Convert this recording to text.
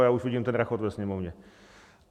A já už vidím ten rachot ve Sněmovně.